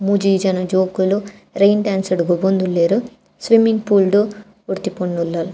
ಮೂಜಿ ಜನ ಜೋಕುಲು ರೈನ್ ಡ್ಯಾನ್ಸ್ ಡ್ ಗೊಬ್ಬೊಂದುಲ್ಲೆರ್ ಸ್ವಿಮ್ಮಿಂಗ್ ಪೂಲ್ ಡ್ ಡ್ ಒರ್ತಿ ಪೊನ್ನುಲಾಲ್.